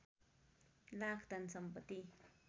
लाख धन सम्पत्ति